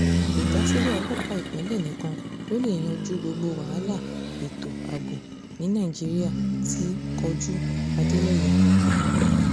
ìdásílẹ̀ ọlọ́pàá ìpínlẹ̀ nìkan ló lè yanjú gbogbo wàhálà ètò ààbò ní nàíjíríà ti kojú-adéléye